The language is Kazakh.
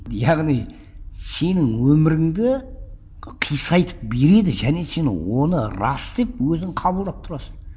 яғни сенің өміріңді кисайтып береді және сен оны рас деп өзің қабылдап тұрасың